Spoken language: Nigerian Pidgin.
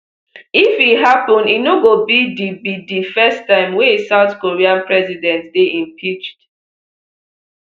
if e happen e no go be di be di first time wey a south korean president dey impeached